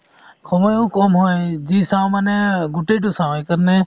সময়ো কম হয় যি চাও মানে গোটেই টো চাও সেইকাৰণে